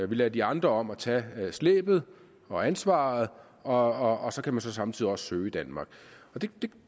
vi lader de andre om at tage slæbet og ansvaret og så kan man samtidig også søge i danmark det